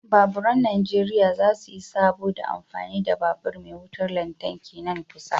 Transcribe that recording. Baburan najeriya za su yi sabo da amfani da babur me wutar lantarki nan kusa.